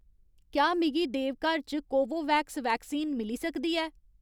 क्या मिगी देवघर च कोवोवैक्स वैक्सीन मिली सकदी ऐ